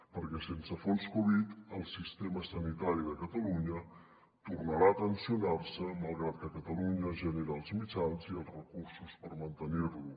perquè sense fons covid el sistema sanitari de catalunya tornarà a tensionar se malgrat que catalunya genera els mitjans i els recursos per mantenir lo